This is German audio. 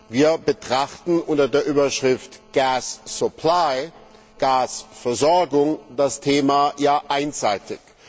Wir betrachten unter der Überschrift Gasversorgung das Thema ja einseitig.